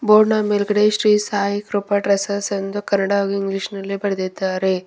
Board ನ ಮೇಲ್ಗಡೆ Shri Sai Krupa dresses ಎಂದು ಕನ್ನಡ ಹಾಗೂ ಇಂಗ್ಲೀಷ್ ನಲ್ಲಿ ಬರೆದಿದ್ದಾರೆ.